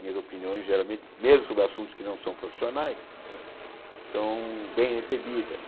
Minhas opiniões, geralmente, mesmo sobre assuntos que não são profissionais não é, são bem recebidas.